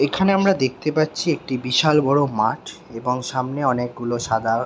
এখানে আমরা দেখতে পাচ্ছি একটি বিশাল বড়ো মাঠ এবং সামনে অনেকগুলো সাদা--